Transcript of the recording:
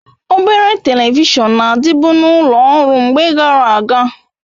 Obere Televishọn n'adibu n'ulo ọrụ mgbe gara aga